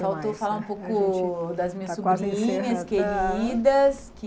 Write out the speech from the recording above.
Faltou falar um pouco das minhas sobrinhas queridas.